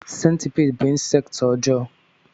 Sentipiid bú insekti ọjọọ.